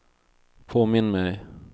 påminn mig